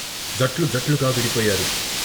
జట్లు జట్లుగా విడి పోయారు.